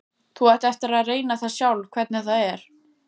Þú átt eftir að reyna það sjálf hvernig það er.